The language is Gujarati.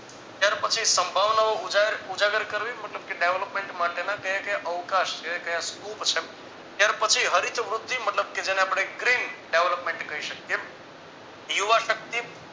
ત્યાર પછી સંભવનો નો ઉજાગર કરવી મતલબ કે development માટે ના કયા કયા અવકાશ છે કયા scrub છે ત્યાર પછી હરિતવૃદ્ધિ મતલબ કે જેને આપણે green development કહી શકીયે યુવા શક્તિ